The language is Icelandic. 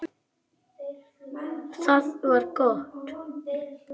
Það var gott